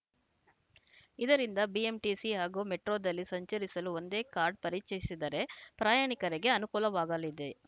ಇದರಿಂದ ಬಿಎಂಟಿಸಿ ಹಾಗೂ ಮೆಟ್ರೋದಲ್ಲಿ ಸಂಚರಿಸಲು ಒಂದೇ ಕಾರ್ಡ್‌ ಪರಿಚಯಿಸಿದರೆ ಪ್ರಯಾಣಿಕರಿಗೆ ಅನುಕೂಲವಾಗಲಿದೆ